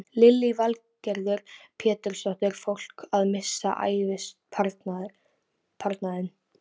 Lillý Valgerður Pétursdóttir: Fólk að missa ævisparnaðinn?